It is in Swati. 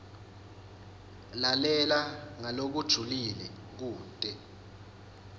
lalela ngalokujulile kute